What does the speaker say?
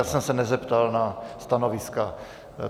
Já jsem se nezeptal na stanoviska.